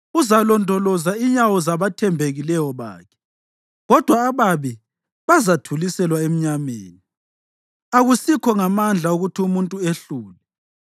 Uzalondoloza inyawo zabathembekileyo bakhe, kodwa ababi bazathuliselwa emnyameni. Akusikho ngamandla ukuthi umuntu ehlule;